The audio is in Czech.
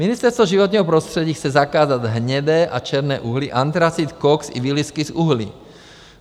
Ministerstvo životního prostředí chce zakázat hnědé a černé uhlí, antracit, koks i výlisky z uhlí.